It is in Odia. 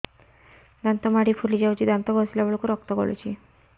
ଦାନ୍ତ ମାଢ଼ୀ ଫୁଲି ଯାଉଛି ଦାନ୍ତ ଘଷିଲା ବେଳକୁ ରକ୍ତ ଗଳୁଛି